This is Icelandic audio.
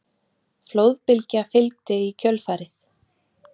Flóðbylgja fylgdi í kjölfarið